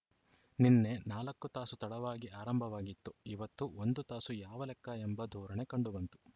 ನಿನ್ನೆ ನಾಲ್ಕು ತಾಸು ತಡವಾಗಿ ಆರಂಭವಾಗಿತ್ತು ಇವತ್ತು ಒಂದು ತಾಸು ಯಾವ ಲೆಕ್ಕ ಎಂಬ ಧೋರಣೆ ಕಂಡುಬಂತು